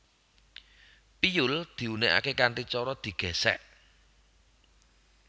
Piyul diunèkaké kanthi cara digèsèk